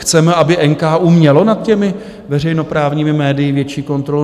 Chceme, aby NKÚ měl nad těmi veřejnoprávními médii větší kontrolu?